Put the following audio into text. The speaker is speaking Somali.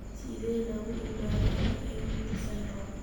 Sidee lagu ogaadaa Naegeli syndrome?